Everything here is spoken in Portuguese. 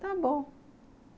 Está bom.